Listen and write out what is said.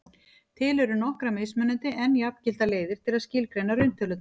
til eru nokkrar mismunandi en jafngildar leiðir til að skilgreina rauntölurnar